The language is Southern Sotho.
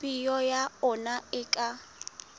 peo ya ona e ka